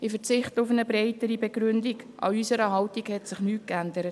Ich verzichte auf eine breitere Begründung, an unserer Haltung hat sich nichts geändert.